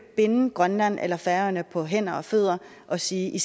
binde grønland eller færøerne på hænder og fødder og sige i